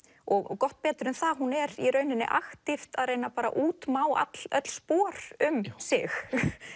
og gott betur en það hún er í rauninni að reyna að útmá öll öll spor um sig